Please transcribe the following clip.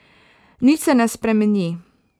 Nič se ne spremeni.